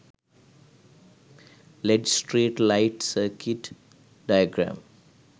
led street light circuit diagram